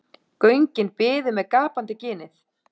Göngin biðu með gapandi ginið.